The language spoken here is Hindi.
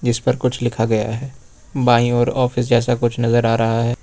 इस पर कुछ लिखा गया है बाईं ओर ऑफिस जैसा कुछ नजर आ रहा है।